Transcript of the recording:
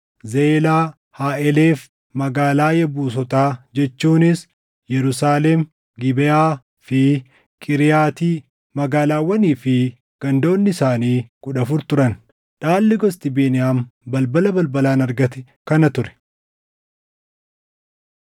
Zeelaa, Haaʼelef, magaalaa Yebuusotaa jechuunis Yerusaalem, Gibeʼaa fi Qiiriyaati; magaalaawwanii fi gandoonni isaanii kudha afur turan. Dhaalli gosti Beniyaam balbala balbalaan argate kana ture.